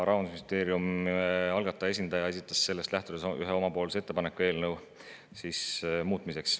Rahandusministeerium, algataja esindaja, esitas sellest lähtudes ühe oma ettepaneku eelnõu muutmiseks.